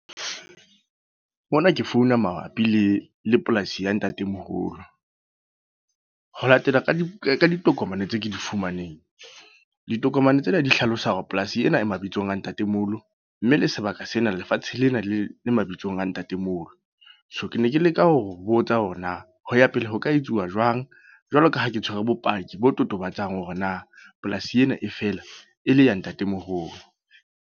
Mona ke founa mabapi le, le polasi ya ntatemoholo. Ho latela ka di ka ditokomane tse ke di fumaneng. Ditokomane tsena di hlalosa hore polasi ena e mabitsong a ntatemoholo. Mme le sebaka sena, lefatshe lena le mabitsong a ntatemoholo. So, ke ne ke leka ho botsa hore na ho ya pele ho ka etsuwa jwang? Jwalo ka ha ke tshwere bopaki bo totobatsang hore na polasi ena e feela e le ya ntatemoholo.